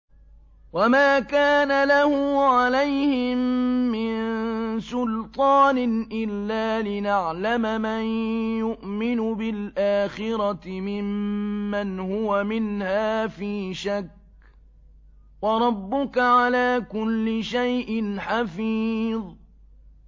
وَمَا كَانَ لَهُ عَلَيْهِم مِّن سُلْطَانٍ إِلَّا لِنَعْلَمَ مَن يُؤْمِنُ بِالْآخِرَةِ مِمَّنْ هُوَ مِنْهَا فِي شَكٍّ ۗ وَرَبُّكَ عَلَىٰ كُلِّ شَيْءٍ حَفِيظٌ